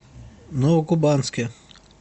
новокубанске